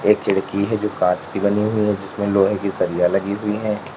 एक खिड़की है जो कांच की बनी हुई है जिसमें लोहे की सरिया लगी हुई हैं।